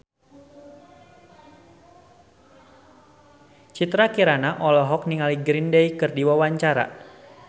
Citra Kirana olohok ningali Green Day keur diwawancara